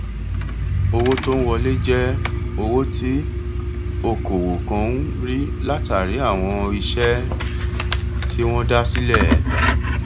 owó tó ń wọlé je owó tí òkòwò kan ń rí látálàrí àwọn iṣẹ tí wọn dá sílẹ